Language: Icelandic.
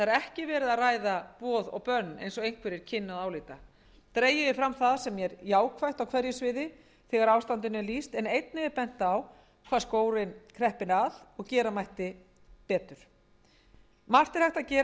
ekki verið að ræða boð og bönn eins og einhverjir kynnu að álíta dregið er fram það sem jákvætt er á hverju sviði þegar ástandinu er lýst en einnig er bent á hvar skórinn kreppir að og gera mætti betur margt er hægt að gera